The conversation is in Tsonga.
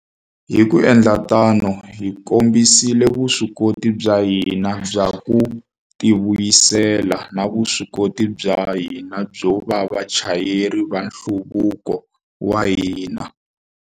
Hi ku endla tano, hi kombisile vuswikoti bya hina bya ku tivuyisela na vuswikoti bya hina byo va vachayeri va nhluvuko wa hina.